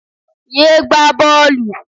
Yé gbá bọ́ọ̀lù.